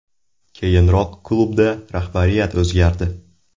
Keyinroq klubda rahbariyat o‘zgardi.